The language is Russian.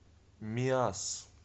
миасс